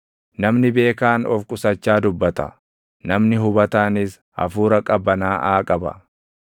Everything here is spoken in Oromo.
Namni beekaan of qusachaa dubbata; namni hubataanis hafuura qabanaaʼaa qaba.